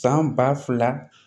San ba fila